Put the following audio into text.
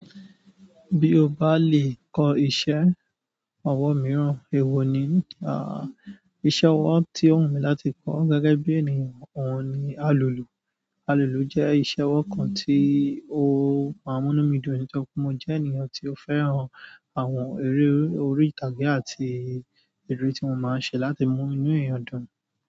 Bí o bá lè kọ iṣẹ́ ọwọ́ mìíràn, èwo ni? Iṣẹ́ ọwọ́ tí ó wù mí láti kọ gẹ́gẹ́ bí ènìyàn ọ̀wọ̀n ni alùlù. Alùlù jẹ́ iṣẹ́ ọwọ́ kan tí ó máa ń mú inú mi dùn. Nítorí mo jẹ́ ènìyàn tí ó fẹ́ràn àwọn eré orí ìtàgé àti eré tí mo máa ń ṣe láti mú inú èèyàn dún.